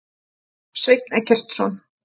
Sveinn Eggertsson.